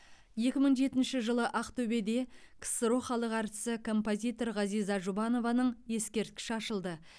екі мың жетінші жылы ақтөбеде ксро халық әртісі композитор ғазиза жұбанованың ескерткіші ашылды